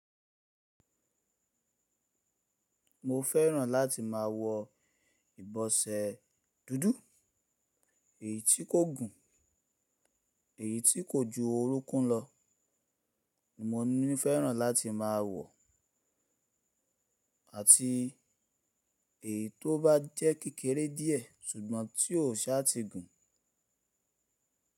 Mo fẹ́ràn láti máa wọ ìbọsẹ dúdú, èyí tí kò gùn, èyí tí kò ju orúnkún lọ ni mo ní fẹ́ràn láti máa wọ̀, àti èyí tó bá jẹ́ kékeré díẹ̀ ṣùgbọ́n tí ò sá ti gùn.